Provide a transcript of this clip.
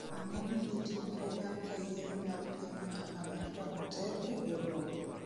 ang'o madhi timore bang' ka yiero mar piny mar Amerka oter e doho?